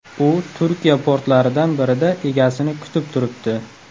U Turkiya portlaridan birida egasini kutib turibdi.